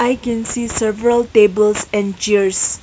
I can see several tables and chairs.